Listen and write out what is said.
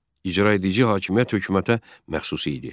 İcraedici hakimiyyət hökumətə məxsus idi.